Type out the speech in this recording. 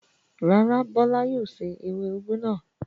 Rárá, Bọ́lá yóò se ewé úgú náà.